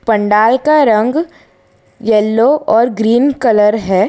पंडाल का रंग येलो और ग्रीन कलर है।